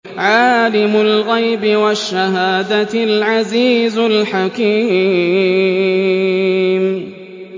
عَالِمُ الْغَيْبِ وَالشَّهَادَةِ الْعَزِيزُ الْحَكِيمُ